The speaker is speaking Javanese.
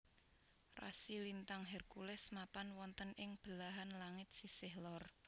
Rasi lintang Hercules mapan wonten ing belahan langit sisih lor